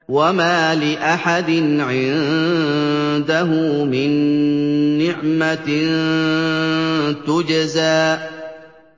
وَمَا لِأَحَدٍ عِندَهُ مِن نِّعْمَةٍ تُجْزَىٰ